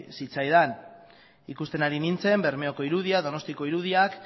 zitzaidan ikusten ari nintzen bermeoko irudiak donostiako irudiak